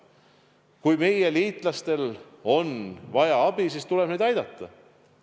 Kui meie liitlastel on vaja abi, siis tuleb neid aidata.